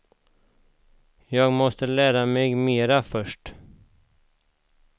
Jag måste lära mig mera först.